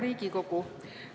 Hea Riigikogu!